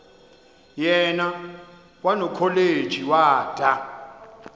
yena kwanokholeji wada